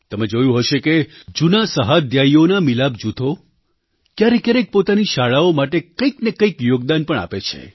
તમે જોયું હશે કે જૂના સહાધ્યાયીઓનાં મિલાપ જૂથો ક્યારેક ક્યારેક પોતાની શાળાઓ માટે કંઈક ને કંઈક યોગદાન પણ આપે છે